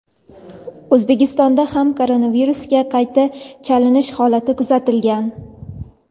O‘zbekistonda ham koronavirusga qayta chalinish holati kuzatilgan.